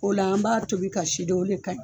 O la an b'a tobi ka si de o le ka ɲi.